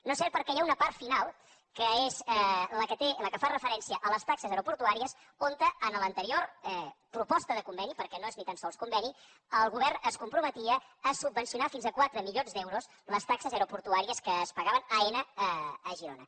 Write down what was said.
no és cert perquè hi ha una part final que és la que fa referència a les taxes aeroportuàries on en l’anterior proposta de conveni perquè no és ni tan sols conveni el govern es comprometia a subvencionar fins a quatre milions d’euros les taxes aeroportuàries que es pagaven a aena a girona